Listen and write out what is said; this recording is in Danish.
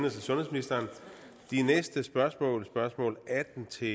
og sundhedsministeren de næste spørgsmål spørgsmål atten til